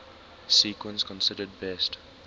sequence considered best